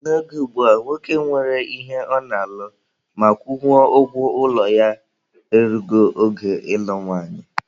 N'oge ugbua, nwoke nwere ihe ọ na-alụ ma kwụnwuo ụgwọ ụlọ ya e rugo oge ịlụ nwanyị.